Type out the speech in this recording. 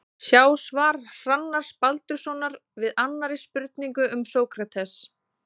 Sjá svar Hrannars Baldurssonar við annarri spurningu um Sókrates.